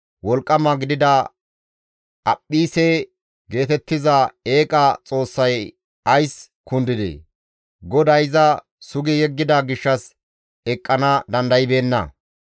Wolqqama gidida Aphphise geetettiza eeqa xoossay ays kundidee? GODAY iza sugi yeggida gishshas eqqana dandaybeenna.